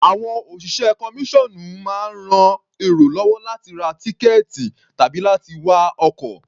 Àwọn òṣìṣẹ́ kọmíṣọ́ọ̀nù máa ń ran èrò lọ́wọ́ láti ra tíkẹ̀ẹ̀tì tàbí láti wá ọkọ̀.